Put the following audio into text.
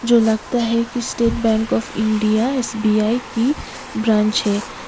जो लगता है कि State Bank of India SBI की ब्रांच है।